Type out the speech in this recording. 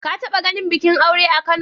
Ka taɓa ganin bikin aure a Kano?